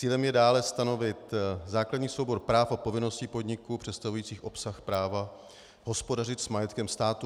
Cílem je dále stanovit základní soubor práv a povinnosti podniků představujících obsah práva hospodařit s majetkem státu.